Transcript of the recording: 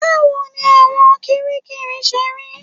Báwo ni ẹ̀wọ̀n kiríkirì ṣe rí?